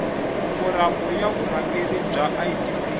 foramu ya vurhangeri bya idp